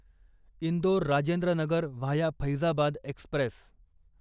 Indore Rajendra Nagar via Faizabad Express